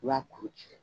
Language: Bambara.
I b'a kuru ci